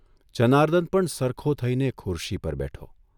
જનાર્દન પણ સરખો થઇને ખુરશી પર બેઠો.